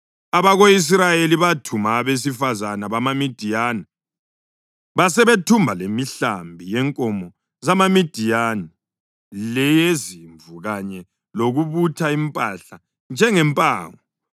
Abako-Israyeli bathumba abesifazane bamaMidiyani labantwana, basebethumba lemihlambi yenkomo zamaMidiyani, leyezimvu kanye lokubutha impahla njengempango.